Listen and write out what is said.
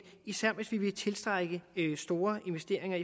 især hvis vi vil tiltrække store investeringer